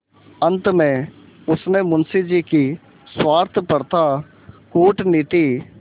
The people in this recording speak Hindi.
अंत में उसने मुंशी जी की स्वार्थपरता कूटनीति